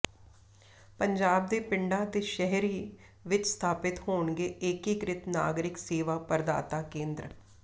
ਪੰਜਾਬ ਦੇ ਪਿੰਡਾਂ ਅਤੇ ਸ਼ਹਿਰੀ ਵਿੱਚ ਸਥਾਪਿਤ ਹੋਣਗੇ ਏਕੀਕ੍ਰਿਤ ਨਾਗਰਿਕ ਸੇਵਾ ਪ੍ਰਦਾਤਾ ਕੇਂਦਰ